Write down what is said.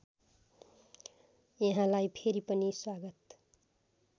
यहाँलाई फेरि पनि स्वागत